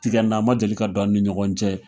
Tigɛnn ma deli ka don an ni ɲɔgɔn cɛ.